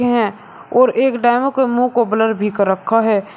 हैं और एक डेमो के मुंह को ब्लर भी कर रखा है।